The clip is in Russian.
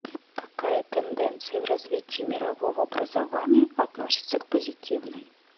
какая тенденция в развитии мирового образования относится к позитивной